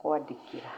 kwandĩkĩra.